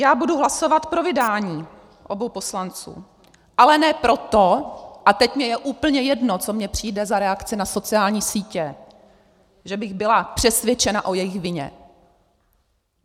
Já budu hlasovat pro vydání obou poslanců, ale ne proto - a teď mně je úplně jedno, co mně přijde za reakci na sociální sítě -, že bych byla přesvědčena o jejich vině.